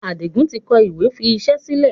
Adigun tí kọ ìwé fi iṣẹ́ yìí sílẹ̀.